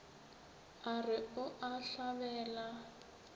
a re o e hlabela